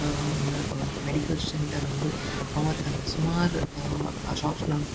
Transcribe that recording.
Ham ಹಾಮ್ medical centre ಉಂಡು ಅವು ಅತ್ತಂದೆ ಸುಮಾರ್ ಆ ಶಾಪ್ಸ್ ಲಾ ಉಂಡು.